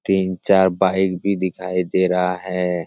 तीन चार बाइक भी दिखाई दे रहा है।